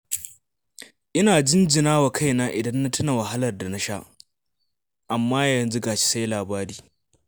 Ina jinjina wa kaina idan na tuna wahalar da na sha, amma ga shi yanzu sai labari